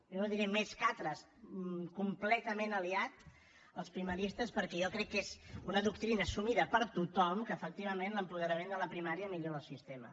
jo no diré més que altres completament aliat als primaristes perquè jo crec que és una doctrina assumida per tothom que efectivament l’apoderament de la primària millora el sistema